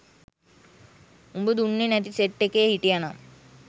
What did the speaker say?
උඹ දුන්නේ නැති සෙට් එකේ හිටියනම්